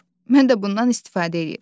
Mən də bundan istifadə edirəm.